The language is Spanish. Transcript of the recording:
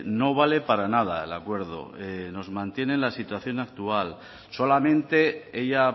no vale para nada el acuerdo nos mantiene la situación actual solamente ella